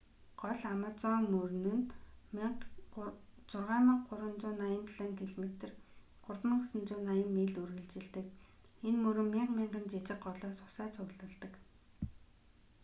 гол амазон мөрөл нь 6,387 км 3,980 миль үргэлжилдэг. энэ мөрөн мянга мянган жиижг голоос усаа цуглуулдаг